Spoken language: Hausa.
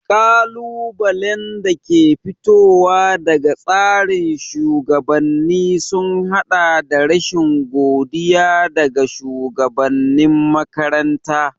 Ƙalubalen da ke fitowa daga tsarin shugabanni sun haɗa da rashin godiya daga shugabanin makaranta.